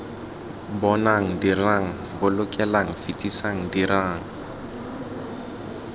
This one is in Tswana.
bonang dirang bolokelang fetisang dirang